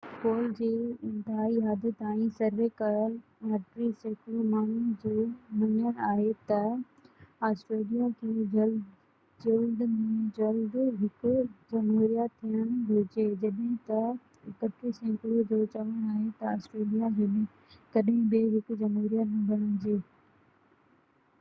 پول جي انتهائي حد تائين سروي ڪيل 29 سيڪڙو ماڻهو جو مڃڻ آهي ته آسٽريليا کي جلد ۾ جلد هڪ جمهوريه ٿيڻ گهرجي جڏهن ته 31 سيڪڙو جو چوڻ آهي ته آسٽريليا ڪڏهن به هڪ جمهوريه نه بڻجي